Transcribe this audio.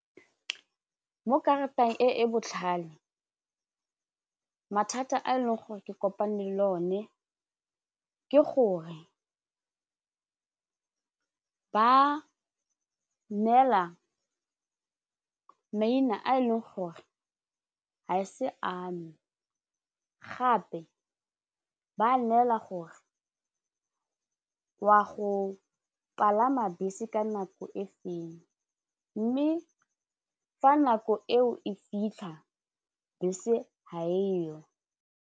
Mo karateng e e botlhale mathata a e leng gore ke kopane le o ne ke gore ba neela maina a e leng gore ga e se ame gape ba neela gore wa go palama bese ka nako e feng mme fa nako eo e fitlha bese ha eo.